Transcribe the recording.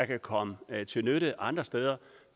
kan komme til nytte andre steder